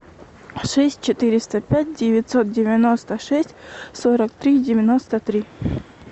шесть четыреста пять девятьсот девяносто шесть сорок три девяносто три